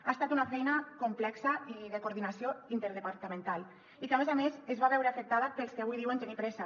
ha estat una feina complexa i de coordinació interdepartamental i que a més a més es va veure afectada pels que avui diuen tenir pressa